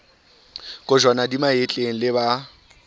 kojwana di mahetleng le ba